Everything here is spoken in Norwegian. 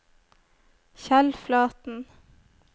Kjell Flaten